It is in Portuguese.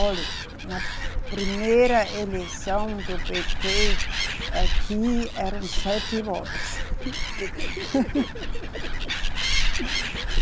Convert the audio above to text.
Olhe, na primeira eleição do Pêtê, aqui eram sete votos.